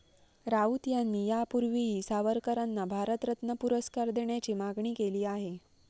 राऊत यांनी यापूर्वीही सावरकरांना भारतरत्न पुरस्कार देण्याची मागणी केली आहे.